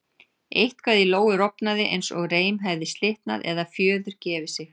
Eitthvað í Lóu rofnaði eins og reim hefði slitnað eða fjöður gefið sig.